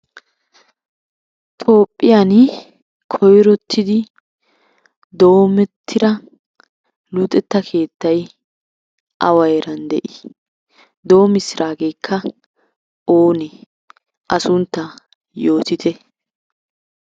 Toophphiyan koyrottidi doomettida luxetta keettay awa heeran de'ii? Doomissirageekka oone? A sunttaa yootite.